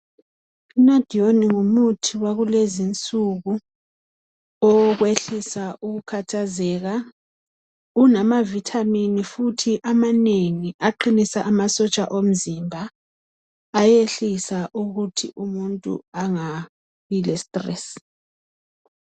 Nadione ngumuthi wakulezinsuku owokwehlisa ukukhathazeka unamavitamini futhi amanengi aqinisa amasotsha omzimba ayehlisa ukuthi umuntu angabe le stress.